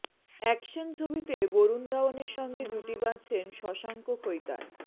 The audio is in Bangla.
অ্যাকশন ছবিতে বরুণ ধাওয়ানের সঙ্গে জুটি বাঁধছেন শশাঙ্ক খৈতান